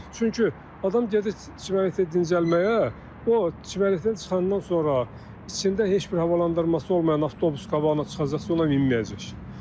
Çünki adam gedir çimərliyə dincəlməyə, o çimərlikdən çıxandan sonra içində heç bir havalandırması olmayan avtobus qabağına çıxacaqsa, ona minməyəcək.